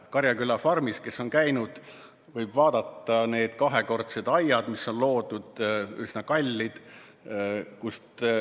Kes on Karjaküla farmis käinud, on näinud, et need kahekordsed aiad, mis on ehitatud, on üsna kallid.